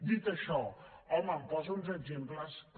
dit això home em posa uns exemples que